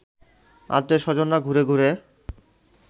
আত্মীয় স্বজনরা ঘুরে ঘুরে